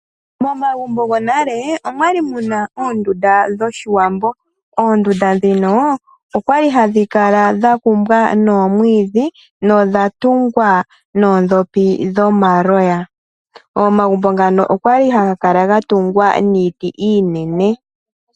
Momagumbo gonale omwali muna oondunda dhoshiwambo. Oondunda ndhino okwali hadhi kala dha kumbwa noomwiidhi, nodha tungwa noondhopi dhomaloya. Omagumbo ngano okwali haga kala gatungwa niiti iinene.